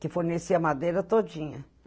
Que fornecia madeira todinha.